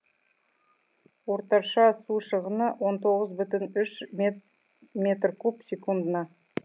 орташа су шығыны он тоғыз бүтін үш метр куб секундына